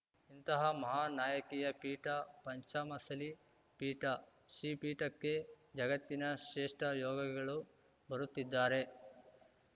ಇಂತಹ ಮಹಾನ್‌ ನಾಯಕಿಯ ಪೀಠ ಪಂಚಮಸಲಿ ಪೀಠ ಶ್ರೀ ಪೀಠಕ್ಕೆ ಜಗತ್ತಿನ ಶ್ರೇಷ್ಟಯೋಗಿಗಳು ಬರುತ್ತಿದ್ದಾರೆ